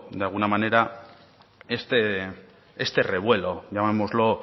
de alguna manera este revuelo llamémoslo